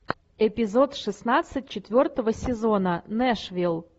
эпизод шестнадцать четвертого сезона нэшвилл